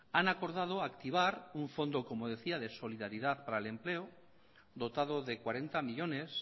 han acordado activar un fondo como decía de solidaridad para el empleo dotado de cuarenta millónes